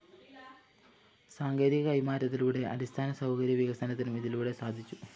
സാങ്കേതിക കൈമാറ്റത്തിലൂടെ അടിസ്ഥാന സൗകര്യ വികസനത്തിനും ഇതിലൂടെ സാധിച്ചു